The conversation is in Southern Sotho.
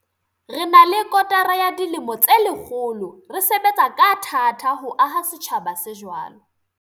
Re na le kotara ya dilemo tse lekgolo re sebetsa ka tha-ta ho aha setjhaba se jwalo.